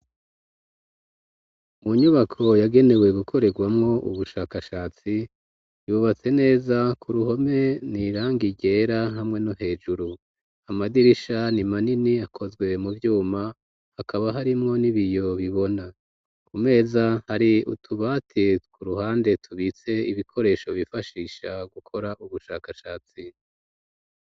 Mu nyubako yagenewe gukoregwamwo ubushakashatsi, yubatse neza, ku ruhome n'iranga ryera hamwe no hejuru, amadirisha ni manini akaba akozwe mu vyuma, hakaba harimwo n'ibiyo bibona. Ku meza hari utubati ku ruhande tubitse ibikoresho bifashisha gukora ubushakashatsi.